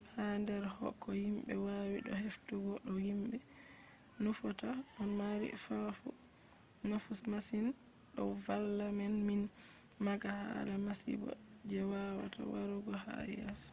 ha der ko himbe wawi do heftugo ko himbe nufata do mari nafu masin. do valla men min maaga hala masibo je wawata warugo ha yeeso